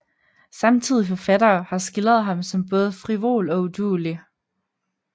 Samtidige forfattere har skildret ham som både frivol og uduelig